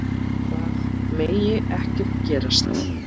Það megi ekki gerast.